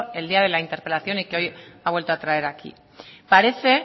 el día de la interpelación y que hoy ha vuelto a traer aquí parece